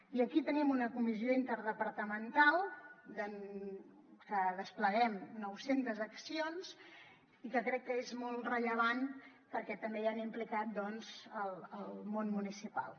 i aquí tenim una comissió interdepartamental en la que despleguem nou centes accions i que crec que és molt rellevant perquè també hi ha implicat el món municipal